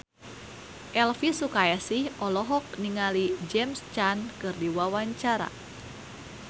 Elvi Sukaesih olohok ningali James Caan keur diwawancara